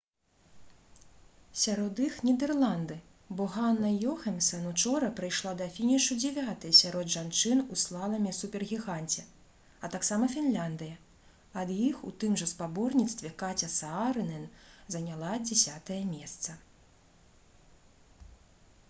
сярод іх нідэрланды бо ганна ёхэмсэн учора прыйшла да фінішу дзевятай сярод жанчын у слаламе супергіганце а таксама фінляндыя ад іх у тым жа спаборніцтве каця саарынен заняла дзесятае месца